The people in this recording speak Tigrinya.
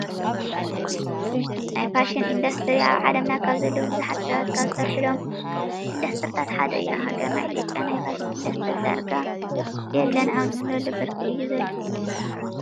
ናይ ፋሽን ኢንዱስትሪ ኣብ ዓለምና ካብ ዘለው ብዙሓት ሰባት ካብ ዝሰርሕሎም ኢንዱስትሪታት ሓደ እዩ። ኣብ ሃገርና ኢትዮጵያ ናይ ፋሽን ኢንዱስትሪ ዳርጋ የለን ኣብ እንብለሉ ብርኪ እዩ ዘሎ።